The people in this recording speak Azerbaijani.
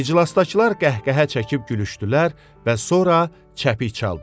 İclasdakılar qəhqəhə çəkib gülüşdülər və sonra çəpik çaldılar.